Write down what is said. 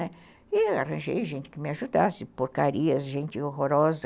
Né, e eu arranjei gente que me ajudasse, porcarias, gente horrorosa.